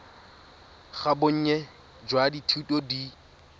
ga bonnye jwa dithuto di